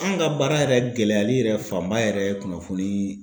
An ka baara yɛrɛ gɛlɛyali yɛrɛ fanba yɛrɛ ye kunnafoni.